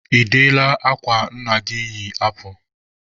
Ị deela akwa nna gị yi apụ?